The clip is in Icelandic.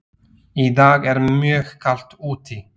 Í dag er mjög kalt úti.